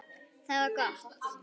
Það var gott